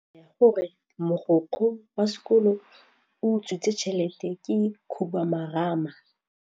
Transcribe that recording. Taba ya gore mogokgo wa sekolo o utswitse tšhelete ke khupamarama.